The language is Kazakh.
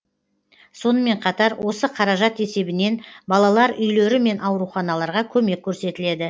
сонымен қатар осы қаражат есебінен балалар үйлері мен ауруханаларға көмек көрсетіледі